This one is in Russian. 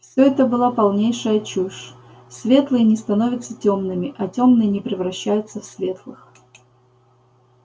все это была полнейшая чушь светлые не становятся тёмными а тёмные не превращаются в светлых